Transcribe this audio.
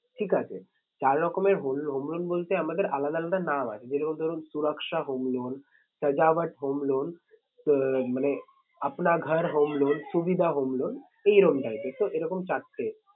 ঠিক আছে চার রকমের home loan বলতে আমাদের আলাদা আলাদা নাম আছে যেরকম ধরুন home loan home loan মানে home loan সুবিধা home loan এই এরম type এর এরকম চারটে